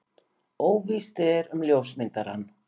Óvíst er um ljósmyndarann.